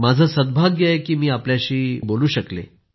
माझं सद्भाग्य आहे की आपल्याशी मी बोलू शकले